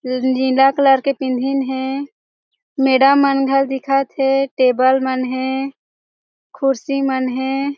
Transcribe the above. ज नीला कलर के पिंधीन हे मैडम मनघर दिखत हे टेबल मन हे खुर्सी मन हे।